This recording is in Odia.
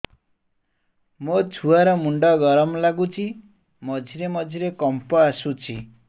ମୋ ଛୁଆ ର ମୁଣ୍ଡ ଗରମ ଲାଗୁଚି ମଝିରେ ମଝିରେ କମ୍ପ ଆସୁଛି